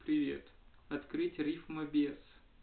привет открыть риф майбес